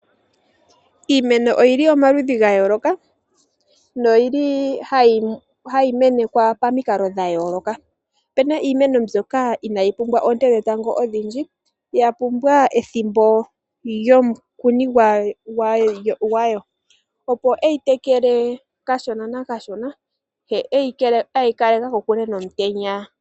Iimeno oyo yili omaludhi gayooloka noha yi menekwa pamikalo dhayooloka. Opu na Iimeno mbyoka ina yi pumbwa oonte dhetango odhindji, ya pumbwa ethimbo lyomukuni gwayo, opo e yi tekele kashona nakashona ye eyi kaleke kokule nomutenya.